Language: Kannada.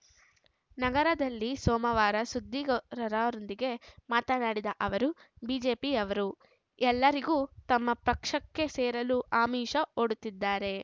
ನಗರದಲ್ಲಿ ಸೋಮವಾರ ಸುದ್ದಿಗಾರರೊಂದಿಗೆ ಮಾತನಾಡಿದ ಅವರು ಬಿಜೆಪಿಯವರು ಎಲ್ಲರಿಗೂ ತಮ್ಮ ಪಕ್ಷಕ್ಕೆ ಸೇರಲು ಆಮಿಷ ಒಡ್ಡುತ್ತಿದ್ದಾರೆ